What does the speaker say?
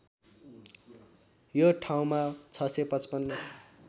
यो ठाउँमा ६५५